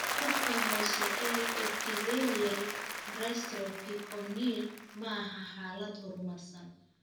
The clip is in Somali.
Xuubka hoose ee epithelial dystrophy corneal ma aha xaalad horumarsan.